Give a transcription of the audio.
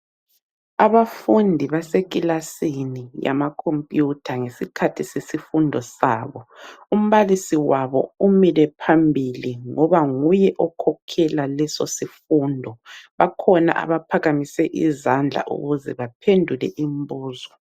Abafundi baseklasini yamakhompuyutha ngesikhathi sesifundo sabo. Umbalisi wabo umile phambili ngoba nguye okhokhela lesosifundo. Bakhona abaphakamise izandla ukuze baphendule imbuzo.